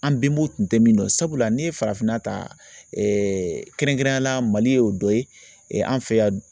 An bɛnbaw tun tɛ min dɔn sabula ni ye farafinna ta kɛrɛnkɛrɛnnenya la Mali ye o dɔ ye an fɛ yan